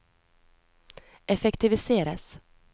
effektiviseres